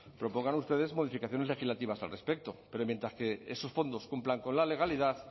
propongan ustedes modificaciones legislativas al respecto pero mientras que esos fondos cumplan con la legalidad